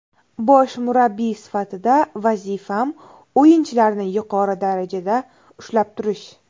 Bosh murabbiy sifatida vazifam o‘yinchilarni yuqori darajada ushlab turish.